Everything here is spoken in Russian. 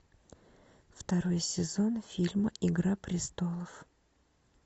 второй сезон фильма игра престолов